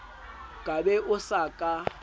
ka be o sa ka